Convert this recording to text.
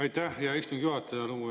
Aitäh, hea istungi juhataja!